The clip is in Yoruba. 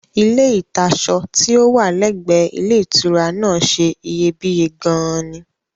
Ilé ìta'ṣọ tí ó wà lẹ́gbẹ̀ẹ ilé ìtura náà ṣe iyebíye gan-an ni